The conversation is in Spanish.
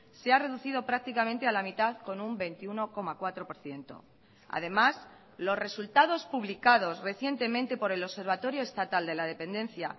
se ha reducido prácticamente a la mitad con un veintiuno coma cuatro por ciento además los resultados publicados recientemente por el observatorio estatal de la dependencia